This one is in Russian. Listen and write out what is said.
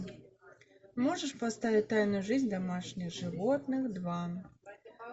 можешь поставить тайную жизнь домашних животных два